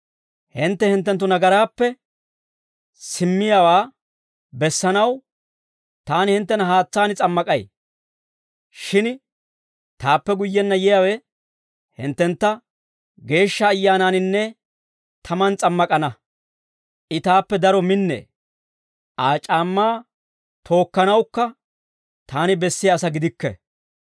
«Hintte hinttenttu nagaraappe simmiyaawaa bessanaw, taani hinttena haatsaan s'ammak'ay; shin taappe guyyenna yiyaawe, hinttentta Geeshsha Ayyaanaaninne tamaan s'ammak'ana. I taappe daro minnee; Aa c'aammaa tookkanawukka taani bessiyaa asaa gidikke.